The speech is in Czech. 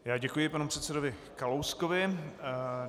Já děkuji panu předsedovi Kalouskovi.